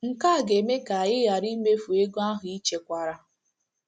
Nke a ga - eme ka ị ghara imefu ego ahụ i chekwara.